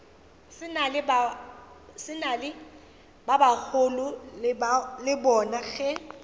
ba bagolo le bona ge